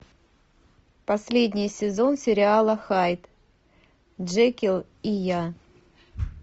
последний сезон сериала хайд джекилл и я